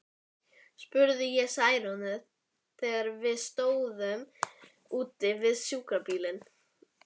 spurði ég Særúnu, þegar við stóðum úti við sjúkrabílinn.